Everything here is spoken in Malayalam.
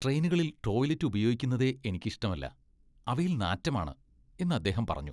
ട്രെയിനുകളിൽ ടോയ്ലറ്റ് ഉപയോഗിക്കുന്നതേ എനിക്ക് ഇഷ്ടമല്ല , "അവയിൽ നാറ്റമാണ്" എന്ന് അദ്ദേഹം പറഞ്ഞു.